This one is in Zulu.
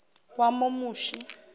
wamomushi